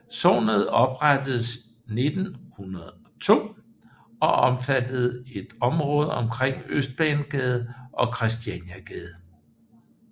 Sognet oprettedes 1902 og omfatter et område omkring Østbanegade og Kristianiagade